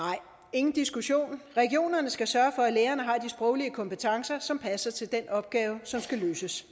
ingen diskussion regionerne skal sørge for at lægerne har de sproglige kompetencer som passer til den opgave som skal løses